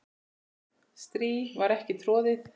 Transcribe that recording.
strý var ekki troðið